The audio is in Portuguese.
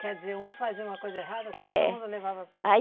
Quer dizer, um fazia uma coisa errada. É. E todo mundo levava. Aí